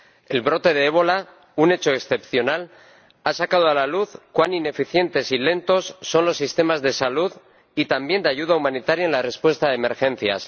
El brote de ébola, un hecho excepcional, ha sacado a la luz cuán ineficientes y lentos son los sistemas de salud y, también, de ayuda humanitaria en la respuesta a emergencias.